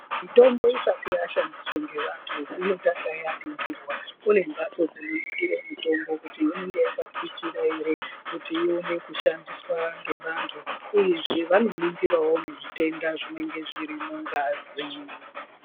Mitombo isati yashandiswe ngevantu inotanga yaningirwa, kune mhatso dzinoningire mitombo kuti inenge yakasisira ere kuti ione kushandiswa ngevantu uye zve vanoningirawo nezvitenda zvinenge zvirimungazi.